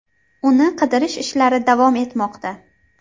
Uni qidirish ishlari davom etmoqda.